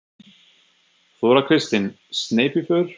Þóra Kristín: Sneypuför?